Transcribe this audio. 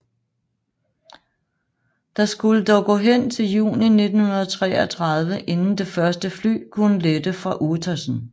Der skulle dog gå hen til juni 1933 inden det første fly kunne lette fra Uetersen